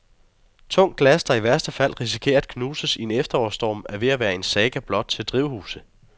Tungt glas, der i værste fald risikerer at knuses i en efterårsstorm, er ved at være en saga blot til drivhuse.